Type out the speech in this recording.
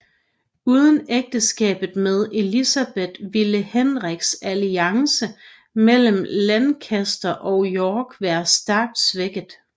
Uden ægteskabet med Elizabeth ville Henriks alliance mellem Lancaster og York være stærkt svækket